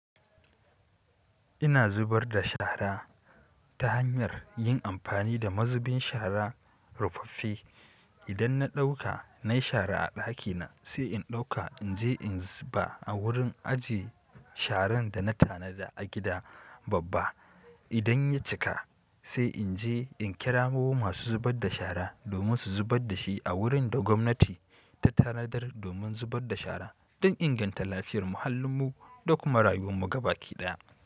Ina zubar da shara ta hanyar yin amfani da mazubin shara rufaffe idan na ɗauka nai shara a ɗakina sai in ɗauka in je in zuba a wurin ajiye sharan da na tanada a gida babba. Idan ya cika sai in je in kira masu zubar da shara domin su zubar da shi a wurin da gwamnati ta tanadar domin zubar da shara don inganta lafiyar muhallin mu da kuma rayuwar mu gaba ɗaya.